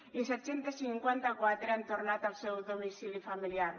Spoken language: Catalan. i set cents i cinquanta quatre han tornat al seu domicili familiar